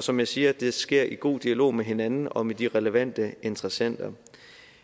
som jeg siger sker i god dialog med hinanden og med de relevante interessenter